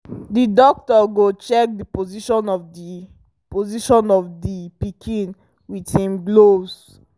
the doctor go check the position of the position of the pikin with him gloves